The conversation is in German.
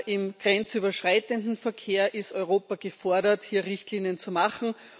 Im grenzüberschreitenden Verkehr ist Europa gefordert, hier Richtlinien zu machen.